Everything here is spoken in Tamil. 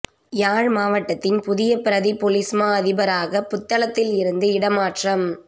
யாழ் மாவட்டத்தின் புதிய பிரதிப் பொலிஸ்மா அதிபராக புத்தளத்தில் இருந்து இடமாற்றம்